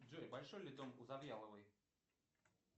джой большой ли дом у завьяловой